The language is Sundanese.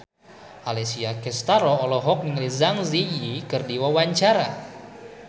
Alessia Cestaro olohok ningali Zang Zi Yi keur diwawancara